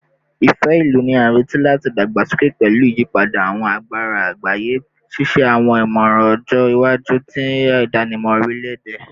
Ifẹ-ilu ni a nireti lati dagbasoke pẹlu iyipada awọn agbara agbaye, ṣiṣe awọn imọran ọjọ iwaju ti idanimọ orilẹ-ede